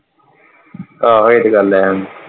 ਆਹੋ ਇਹ ਤੇ ਗੱਲ ਹੈ।